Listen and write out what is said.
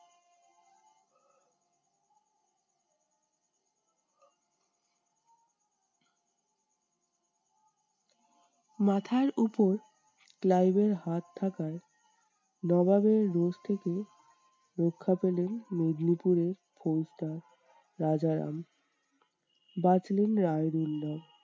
মাথার উপর ক্লাইভের হাত থাকায় নবাবের রোষ থেকে রক্ষা পেলেন মেদিনীপুরের ফৌজদার রাজারাম। বাঁচলেন রায়দিন্দার